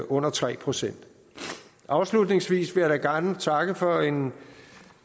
under tre procent afslutningsvis vil jeg da gerne takke for en